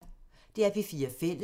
DR P4 Fælles